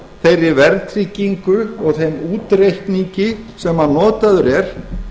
þeirri verðtryggingu og þeim útreikningi sem notaður er